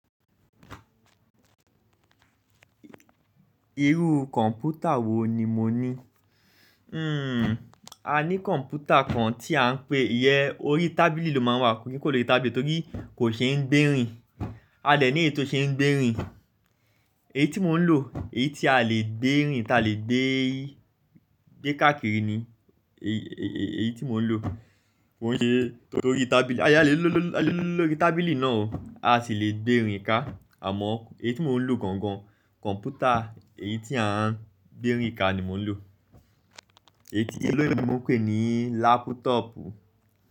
Irú kọ̀npútà wò ní mo ní? Hmm, a ní kọ̀ǹpútà kan tí a ń pè yẹ, orí tábìlì ló máa ń wà, kí n kò lè lo tábìlì torí kò ṣe ń gbérin. A dé ní èyí tó ṣe ń gbérin. Èyí tí mo ń lò èyí tí a lè gbé káàkiri ní èyí tí mo ń lò kó kí n ṣe torí orí tábìlì. A lè lo, a lè lo lórí tábìlì náà o. A sì lè gbérin ká. Àmọ́ èyí tí mò ń lò gan gan, kọ̀ǹpútà èyí tí a ń gbérin ká ni mò ń lò. Èyí tí òyìnbó ń pè ní lápútọ̀ọ̀pù.